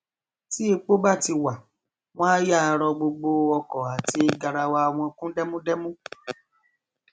tí epo bá ti wà wọn á yáa rọ gbogbo ọkọ àti garawa wọn kún dẹmúdẹmú